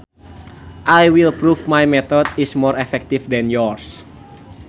I will prove my method is more effective than yours